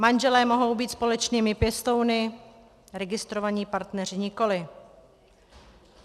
Manželé mohou být společnými pěstouny, registrovaní partneři nikoli.